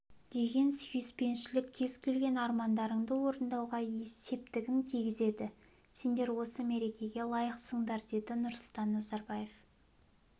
деген сүйіспеншілік кез келген армандарыңды орындауға септігін тигізеді сендер осы мерекеге лайықсыңдар деді нұрсұлтан назарбаев